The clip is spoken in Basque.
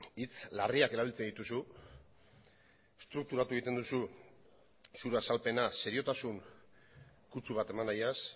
hitz larriak erabiltzen dituzu estrukturatu egiten duzu zure azalpena seriotasun kutsu bat eman nahiaz